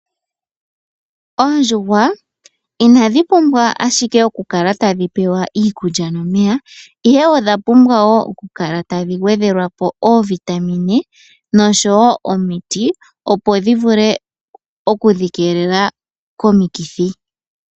Oondjuhwa inadhi pumbwa ashike oku kala tadhi pewa iikulya nomeya, ihe odha pumbwa wo oku kala tadhi gwedhelwa po oovitamine noshowo omiti, opo dhi vule oku dhi keelela komikithi.